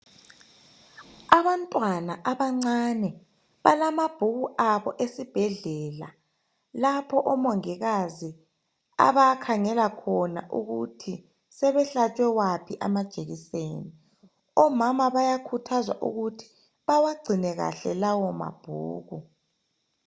Abantwana abancane balamabhuku abo esibhedlela lapho omongikazi abakhangela khona ukuthi sebehlatshwe waphi amajekiseni. Omama bayakhuthazwa ukuthi bawagcine kahle lawo mabhuku.